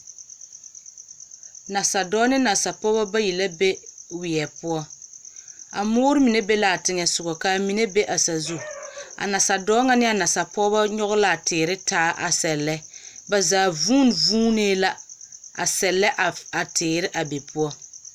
Nasadɔbɔ ne nasapɔbɔ bayi lɛbɛ be weɛ poɔ. A moor mine be laa teŋɛ sogɔ, kaa mine be a sazu. A nasadɔɔ ŋa ne a nasapɔbɔ nyɔgɔ laa teere taa a sɛllɛ. Ba zaa vuun vuunee la a sɛllɛ a s a teere a be poɔ.